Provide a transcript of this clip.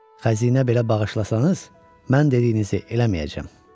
Xəzinə belə bağışlasanız, mən dediyinizi eləməyəcəm.